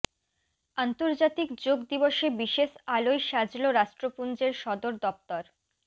আন্তর্জাতিক যোগ দিবসে বিশেষ আলোয় সাজল রাষ্ট্রপুঞ্জের সদর দফতর